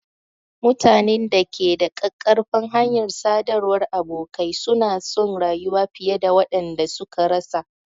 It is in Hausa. Mutanen da ke da ƙaƙƙarfan hanyar sadarwar abokai suna son rayuwa fiye da waɗanda sun rasa.